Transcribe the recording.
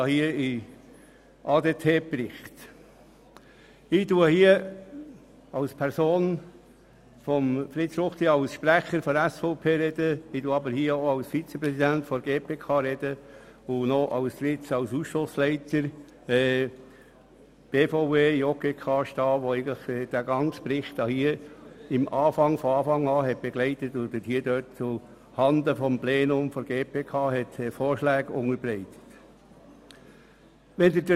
Ich spreche nun als Person Fritz Ruchti, als Sprecher der SVP sowie als Vizepräsident der GPK und als Leiter ihres Ausschusses BVE/JGK/STA, der diesen ganzen Bericht von Anfang an begleitet und zuhanden des GPK-Plenums Vorschläge unterbreitet hat.